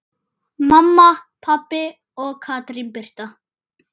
Mamma, pabbi og Katrín Birta.